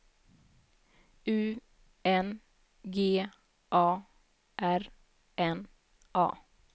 U N G A R N A